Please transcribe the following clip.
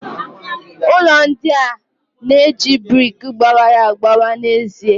Ụlọ ndị a na-eji brik gbawara agbawa n'ezie.